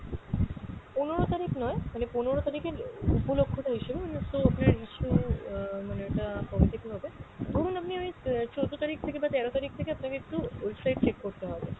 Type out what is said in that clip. পনেরো তারিখ নয়, মানে পনেরো তারিখের উপলক্ষতা হিসেবে মানে so আপনার আহ মানে ওইটা কবে থেকে হবে, ধরুন আপনি ওই আহ চোদ্দো তারিখ থেকে বা তেরো তারিখ থেকে আপনাকে একটু website check করতে হবে।